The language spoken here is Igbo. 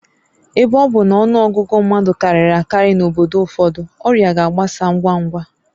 Ebe ọ bụ na ọnụ ọgụgụ mmadụ karịrị akarị n'obodo ụfọdụ, ọrịa ga-agbasa ngwa ngwa